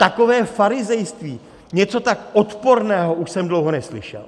Takové farizejství, něco tak odporného už jsem dlouho neslyšel!